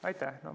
Aitäh!